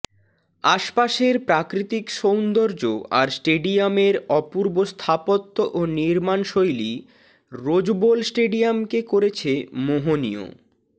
আশপাশের প্রাকৃতিক সৌন্দর্য্য আর স্টেডিয়ামের অপূর্ব স্থাপত্য ও নির্মাণ শৈলি রোজবোল স্টেডিয়ামকে করেছে মোহনীয়